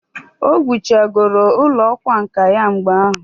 O wuchagoro ụlọ ọkwa nka ya mgbe ahụ?